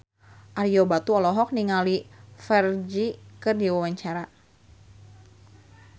Ario Batu olohok ningali Ferdge keur diwawancara